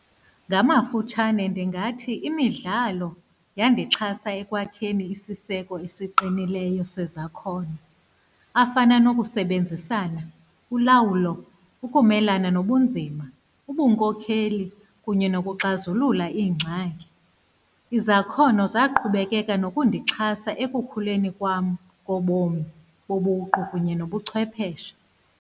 Ngamafutshane ndingathi imidlalo yandixhasa ekwakheni isiseko esiqinileyo sezakhono, afana nokusebenzisana, ulawulo, ukumelana nobunzima, ubunkokheli kunye nokuxazulula iingxaki. Izakhono zaqhubekeka nokundixhasa ekukhuleni kwam kobom, kobuqu kunye nobuchwepheshe.